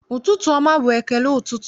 Ụtụtụ ọma bụ ekele ụtụtụ.